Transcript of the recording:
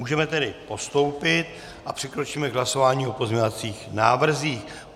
Můžeme tedy postoupit a přikročíme k hlasování o pozměňovacích návrzích.